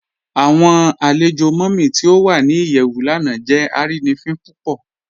Awọn alẹ̀jọ Mummy ti o wà ní iyẹwù lánà jẹ arínifin púpọ̀.